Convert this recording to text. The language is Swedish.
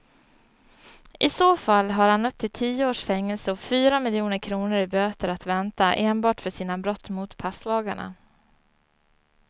I så fall har han upp till tio års fängelse och fyra miljoner kronor i böter att vänta enbart för sina brott mot passlagarna.